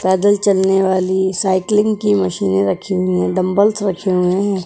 पैदल चलने वाली साइकलिंग की मशीने रखी हुई हैं डंबलस रखे हुए हैं।